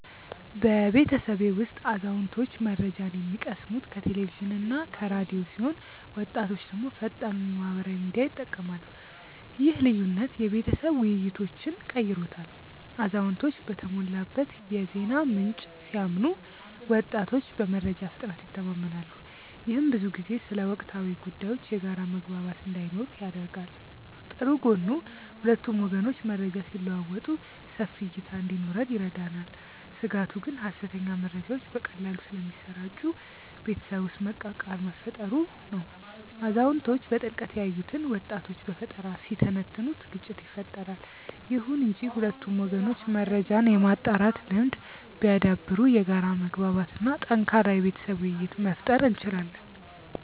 በቤተሰቤ ውስጥ አዛውንቶች መረጃን የሚቀስሙት ከቴሌቪዥንና ከራዲዮ ሲሆን ወጣቶች ደግሞ ፈጣኑን የማህበራዊ ሚዲያ ይጠቀማሉ። ይህ ልዩነት የቤተሰብ ውይይቶችን ቀይሮታል አዛውንቶች በተሞላበት የዜና ምንጭ ሲያምኑ ወጣቶች በመረጃ ፍጥነት ይተማመናሉ። ይህም ብዙ ጊዜ ስለ ወቅታዊ ጉዳዮች የጋራ መግባባት እንዳይኖር ያደርጋል። ጥሩ ጎኑ ሁለቱም ወገኖች መረጃ ሲለዋወጡ ሰፊ እይታ እንዲኖረን ይረዳናል። ስጋቱ ግን ሐሰተኛ መረጃዎች በቀላሉ ስለሚሰራጩ ቤተሰብ ውስጥ መቃቃር መፈጠሩ ነው። አዛውንቶች በጥልቀት ያዩትን ወጣቶች በፈጠራ ሲተነትኑት ግጭት ይፈጠራል። ይሁን እንጂ ሁለቱም ወገኖች መረጃን የማጣራት ልምድ ቢያዳብሩ የጋራ መግባባት እና ጠንካራ የቤተሰብ ውይይት መፍጠር እንችላለን።